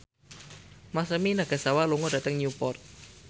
Masami Nagasawa lunga dhateng Newport